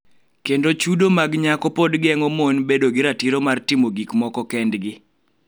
Kendo chudo mag nyako pod geng�o mon bedo gi ratiro mar timo gik moko kendgi